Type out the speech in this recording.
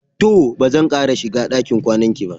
To! ba zan sake shiga ɗakin kwanan ki ba.